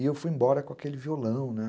E eu fui embora com aquele violão, né?